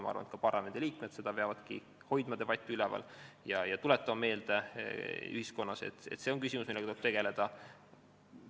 Ma arvan, et parlamendiliikmed peavadki hoidma debatti üleval ja tuletama ühiskonnale meelde, et see on küsimus, millega tuleb tegeleda.